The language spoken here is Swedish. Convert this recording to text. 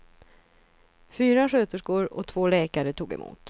Fyra sköterskor och två läkare tog emot.